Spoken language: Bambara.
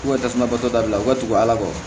K'u ka tasuma bɔtɔ dabila ka tugu ala kɔ